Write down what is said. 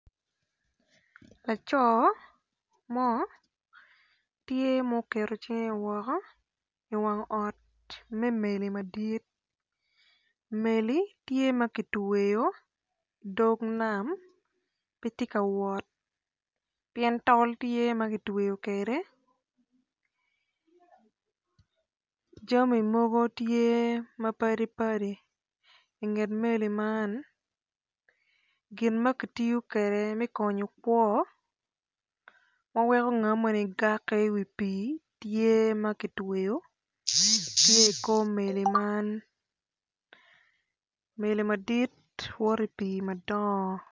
Laco mo tye ma oketo cinge woko iwang meli madil meli tye ma kitweyo dog nam pe tye ka wot pien tol tye ma kitweyo kwede jami mogo tye mapadi padi inget meli man gin ma kitiyo kwede me konyo kwo ma weko ngto moni gako iwi pii tye ma kitweyo tye i kor meli man meli madiit woto ipii madongo.